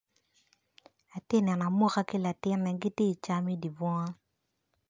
Atye neno amuka ki latine gitye can idi bunga.